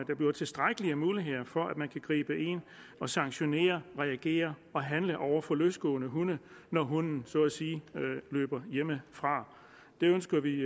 der bliver tilstrækkelige muligheder for at man kan gribe ind og sanktionere reagere og handle over for løsgående hunde når hunden så at sige løber hjemmefra det ønsker vi